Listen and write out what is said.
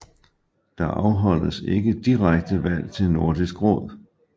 Der afholdes ikke direkte valg til Nordisk Råd